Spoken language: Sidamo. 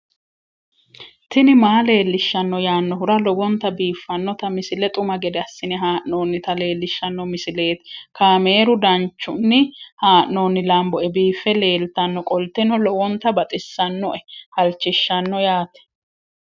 tini maa leelishshanno yaannohura lowonta biiffanota misile xuma gede assine haa'noonnita leellishshanno misileeti kaameru danchunni haa'noonni lamboe biiffe leeeltannoqolten lowonta baxissannoe halchishshanno yaate